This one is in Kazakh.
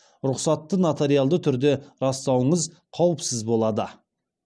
рұқсатты нотариалды түрде растауыңыз қауіпсіз болады